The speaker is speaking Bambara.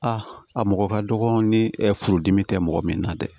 A mɔgɔ ka dɔgɔn ni furudimi tɛ mɔgɔ min na dɛ